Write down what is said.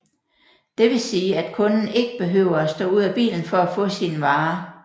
Det vil sige at kunden ikke behøver at stå ud af bilen for at få sine varer